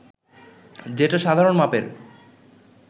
যেটা সাধারণ মাপের